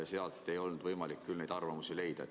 Sealt ei olnud võimalik neid arvamusi leida.